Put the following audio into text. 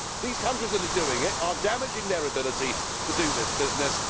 These countries that are doing it are damaging their ability to do this business.